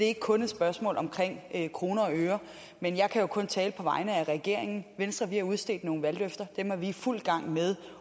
ikke kun et spørgsmål om kroner og øre men jeg kan jo kun tale på vegne af regeringen i venstre har vi udstedt nogle valgløfter dem er vi i fuld gang med